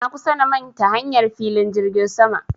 Na kusa na manta hanyar filin jirgin sama